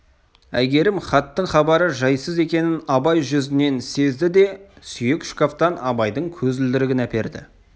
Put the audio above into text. әйгерім хаттың хабары жайсыз екенін абай жүзінен сезді де сүйек шкафтан абайдың көзілдірігін әперді